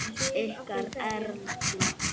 Ykkar Erla.